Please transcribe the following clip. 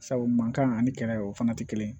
Sabu mankan ani kɛlɛ o fana tɛ kelen ye